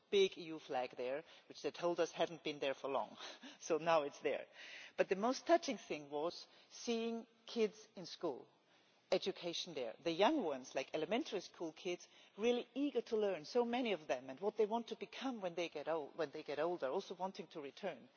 There was a big EU flag there which, they told us, had not been there for long so now it is there! But the most touching thing was seeing kids in school the education there. The young ones like elementary school kids were really eager to learn, so many of them, and saying what they wanted to become when they get older, also wanting to return.